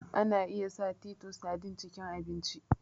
Ana iya sa titus sardine cikin abinci